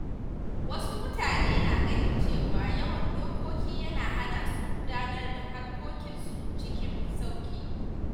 Wasu mutane na ganin cewa yawan dokoki yana hana su gudanar da harkokinsu cikin sauƙi.